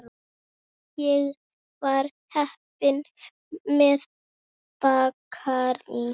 Ég var heppin með bakarí.